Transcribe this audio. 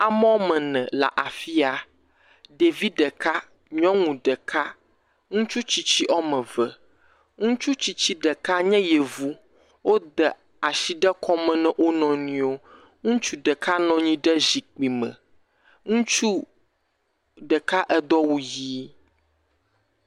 Ame woame ene le afi ya ɖevi ɖeka nyɔnu ɖeka, ŋutsu tsitsi ɖeka woame eve, ŋutsu tsitsi ɖeka nye yevu wode asi ɖe na wo nɔnɔewo, ŋutsu ɖeka nɔ anyi ɖe zikpui me ŋutsu ɖeka edo awu ʋi.